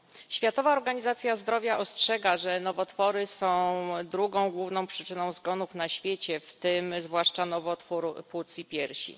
Światowa Organizacja Zdrowia ostrzega, że nowotwory są drugą główną przyczyną zgonów na świecie, w tym zwłaszcza nowotwór płuc i piersi.